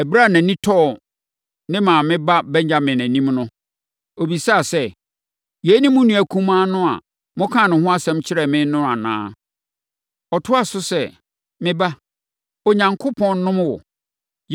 Ɛberɛ a nʼani tɔɔ ne maame ba Benyamin anim no, ɔbisaa sɛ, “Yei ne mo nua kumaa a mokaa ne ho asɛm kyerɛɛ me no anaa?” Ɔtoaa so sɛ, “Me ba, Onyankopɔn nnom wo!”